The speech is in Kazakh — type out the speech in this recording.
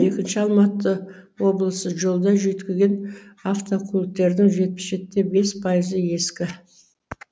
екінші алматы облысы жолда жүйткіген автокөліктерінің жетпіс жетіде бес пайызы ескі